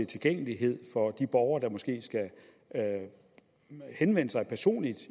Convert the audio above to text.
tilgængelighed for de borgere der måske skal henvende sig personligt